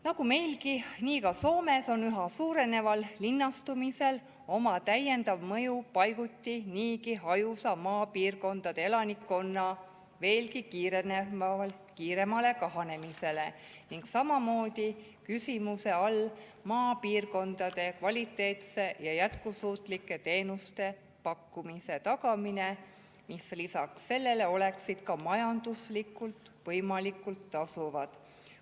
Nagu meilgi, nii ka Soomes on üha suureneval linnastumisel oma täiendav mõju maapiirkondade paiguti niigi hajusa elanikkonna veelgi kiiremale kahanemisele ning samamoodi on küsimuse all maapiirkondades kvaliteetsete ja jätkusuutlike teenuste pakkumise tagamine, ka majanduslikult võimalikult tasuvad.